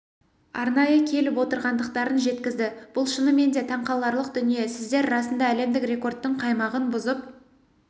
арнайы келіп отырғандықтарын жеткізді бұл шынымен де таңқаларлық дүние сіздер расында әлемдік рекордтың қаймағын бұзып